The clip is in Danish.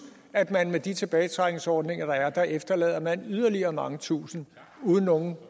at man med de tilbagetrækningsordninger der er efterlader yderligere mange tusinde uden nogen